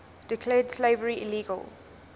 declared slavery illegal